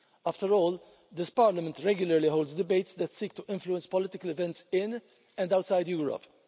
After all, this Parliament regularly holds debates that seek to influence political events in, and outside, Europe.